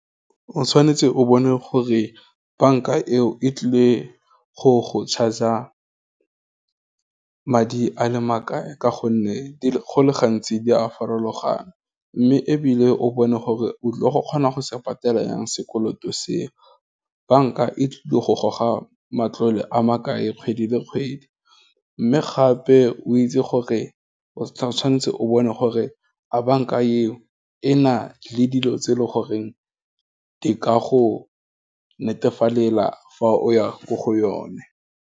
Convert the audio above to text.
O tshwanetse o bone gore banka eo e tlile go charger-a madi a le makae, ka gonne, go le gantsi di a farologana, mme ebile, o bone gore, o tlile go kgona go se patela yang sekoloto seo, banka e tlile go goga matlole a makae kgwedi le kgwedi, mme gape o itse gore o tshwanetse o bone gore a banka eo, e na le dilo tse e le goreng di ka go netefalela fa o ya ko go yone.